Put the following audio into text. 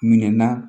Minɛn na